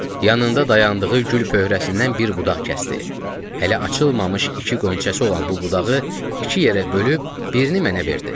Yanında dayandığı gül pöhərəsindən bir budaq kəsdi, hələ açılmamış iki qönçəsi olan bu budağı iki yerə bölüb birini mənə verdi.